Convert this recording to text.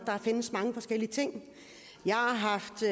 findes mange forskellige ting jeg har haft